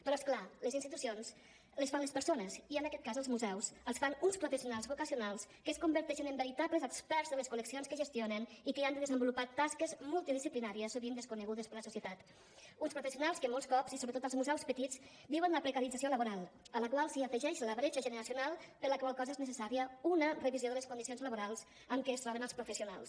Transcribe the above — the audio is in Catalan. però és clar les institucions les fan les persones i en aquest cas els museus els fan uns professionals vocacionals que es converteixen en veritables experts de les col·leccions que gestionen i que hi han de desenvolupar tasques multidisciplinàries sovint desconegudes per la societat uns professionals que molts cops i sobretot als museus petits viuen la precarització laboral a la qual s’hi afegeix la bretxa generacional per la qual cosa és necessària una revisió de les condicions laborals amb què es troben els professionals